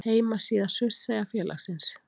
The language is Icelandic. Heimasíða Surtseyjarfélagsins.